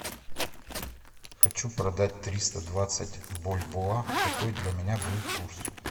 хочу продать триста двадцать бальбоа какой для меня будет курс